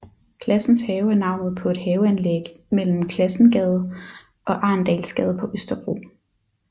Classens Have er navnet på et haveanlæg mellem Classensgade og Arendalsgade på Østerbro